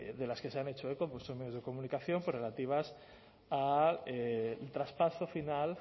de las que se han hecho eco los medios de comunicación pues relativas a un traspaso final